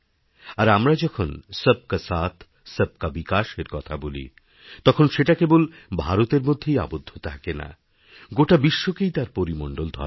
আর আমরা যখন সব কা সাথ সব কা বিকাশএরকথা বলি তখন সেটা কেবল ভারতের মধ্যেই আবদ্ধ থাকে না গোটা বিশ্বকেই তার পরিমণ্ডলধরা হয়